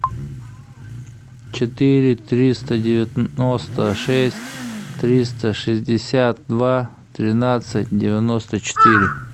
четыре триста девяносто шесть триста шестьдесят два тринадцать девяносто четыре